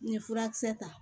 N ye furakisɛ ta